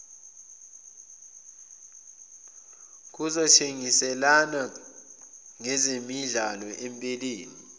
kokuthengiselana ngezemidlalo empeleni